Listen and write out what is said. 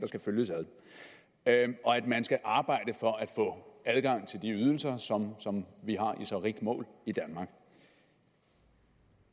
skal følges ad og at man skal arbejde for at få adgang til de ydelser som som vi har i så rigt mål i danmark